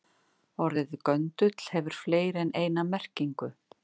Orðið göndull hefur fleiri en eina merkingu.